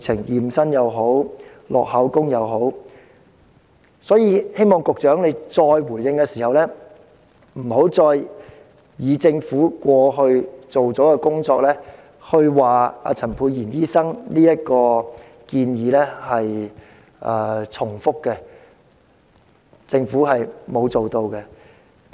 因此，我希望局長稍後再回應時不要指政府過去已進行工作，因此陳沛然議員的建議已屬重複，其實政府並沒有進行有關工作。